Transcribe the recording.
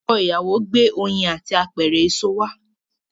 Ọkọ ìyàwó gbé oyin àti apẹ̀rẹ̀ àwọn èṣò wá.